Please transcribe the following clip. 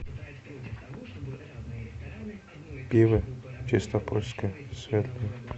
пиво чистопольское светлое